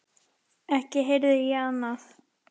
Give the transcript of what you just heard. Ekki heyrði ég annað.